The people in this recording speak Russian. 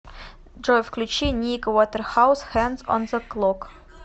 джой включи ник вотерхаус хэндс он зе клок